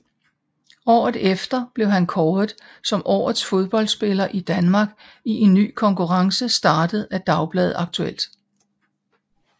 Året efter blev han kåret som Årets Fodboldspiller i Danmark i en ny konkurrence startet af dagbladet Aktuelt